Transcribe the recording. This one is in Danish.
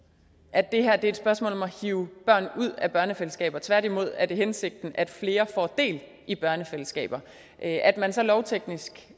at det her er et spørgsmål om at hive børn ud af børnefællesskaber tværtimod er det hensigten at flere får del i børnefællesskaber at at man så lovteknisk